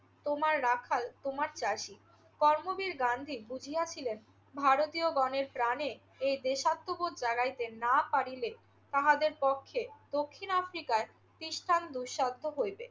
তোমার রাখাল, তোমার চাষী। কর্মবীর গান্ধী বুঝিয়াছিলেন ভারতীয়গণের প্রাণে এ দেশাত্মবোধ জাগাইতে না পারিলে তাহাদের পক্ষে দক্ষিণ আফ্রিকায় তিষ্ঠান দুঃসাধ্য হইবে।